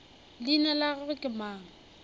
leina la gagwe ke mang